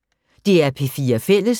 DR P4 Fælles